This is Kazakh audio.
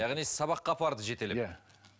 яғни сабаққа апарды жетелеп иә